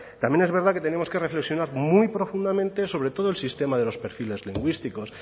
también es verdad que tenemos que reflexionar muy profundamente sobre todo el sistema de los perfiles lingüísticos